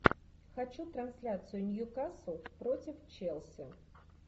хочу трансляцию ньюкасл против челси